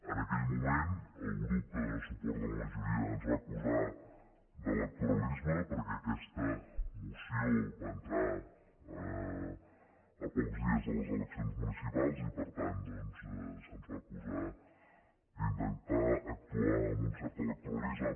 en aquell moment el grup que dóna suport a la majoria ens va acusar d’electoralisme perquè aquesta moció va entrar a pocs dies de les eleccions municipals i per tant doncs se’ns va acusar d’intentar actuar amb un cert electoralisme